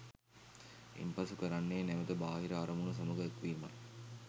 ඉන්පසු කරන්නේ නැවත බාහිර අරමුණු සමඟ එක්වීමයි